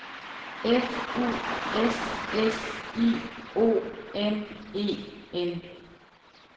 F U S S I O N E N